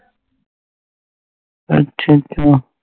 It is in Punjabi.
ਅੱਛਾ ਅੱਛਾ